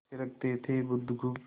थिरकती थी बुधगुप्त